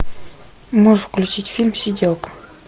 можешь включить фильм сиделка